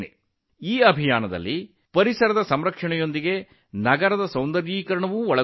ಈ ಅಭಿಯಾನವು ಪರಿಸರ ಸಂರಕ್ಷಣೆ ಹಾಗೂ ನಗರದ ಸುಂದರೀಕರಣಕ್ಕೆ ಸಂಬಂಧಿಸಿದ್ದು